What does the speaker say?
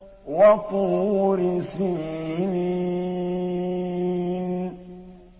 وَطُورِ سِينِينَ